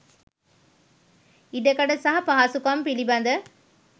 ඉඩකඩ සහ පහසුකම් පිළිබඳ